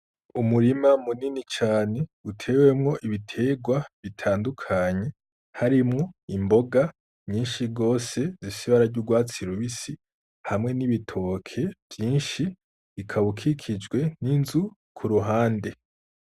Umurima munini cane ,utewemwo ibiterwa bitandukanye, harimwo imboga nyinshi gose ,zifise ibara ry'urwatsi rubisi, hamwe n'ibitoke vyinshi, ukaba ukikijwe n'inzu k'uruhande.